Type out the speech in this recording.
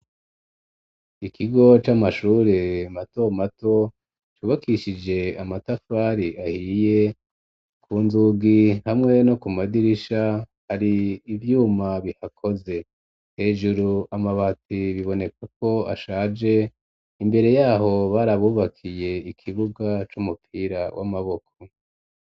ikigo c'amashure mato mato ,cubakishije amatafari ahiye, ku nzugi hamwe no ku madirisha hari ivyuma bihakoze, hejuru amabati biboneka ko ashaje, imbere yaho barabubakiye ikibuga c'umupira w'amaboko.